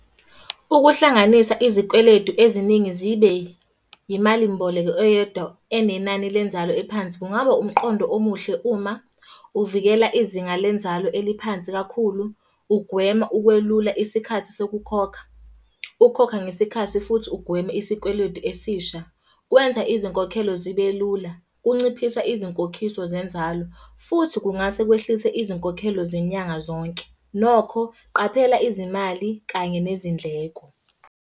Ukuhlanganisa izikweletu eziningi zibe yimalimboleko eyodwa enenani lenzalo ephansi kungaba umqondo omuhle uma uvikela izinga lenzalo eliphansi kakhulu. Ugwema ukwelula isikhathi sokukhokha, ukukhokha ngesikhathi futhi ugweme isikweletu esisha. Kwenza izinkokhelo zibe lula. Kunciphisa izinkokhiso zenzalo, futhi kungase kwehlise izinkokhelo zenyanga zonke. Nokho, qaphela izimali kanye nezindleko.